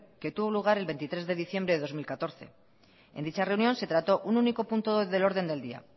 que tuvo lugar el veintitrés de diciembre de dos mil catorce en dicha reunión se trató un único punto del orden del día